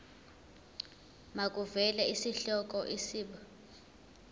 makuvele isihloko isib